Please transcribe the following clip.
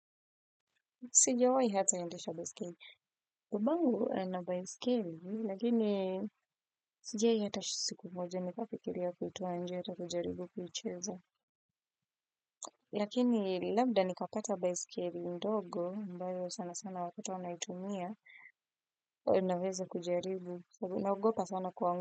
Sijawai hata endesha baiskeli. Babangu ana baiskeli. Lakini sijawayi hata siku moja. Nikafikiria kitu hata kujaribu kucheza. Lakini labda nikapata baiskeli ndogo mbayo sana sana watoto wanaitumia. Naweza kujaribu. Naogopa sana kuanguka.